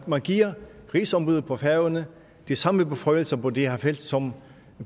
at man giver rigsombuddet på færøerne de samme beføjelser på det her felt som